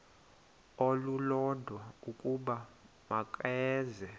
olulodwa ukuba makeze